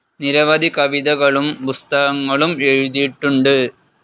നിരവധി കവിതകളും പുസ്തകങ്ങളും എഴുതിയിട്ടുണ്ട്.